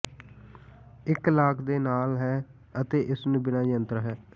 ਇੱਕ ਲਾਕ ਦੇ ਨਾਲ ਹੈ ਅਤੇ ਇਸ ਨੂੰ ਬਿਨਾ ਜੰਤਰ ਹੈ